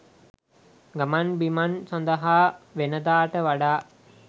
ගමන්බිමන් සඳහා වෙනදාට වඩා